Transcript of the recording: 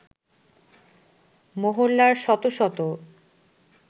মহল্লার শত শত